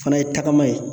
Fana ye tagama ye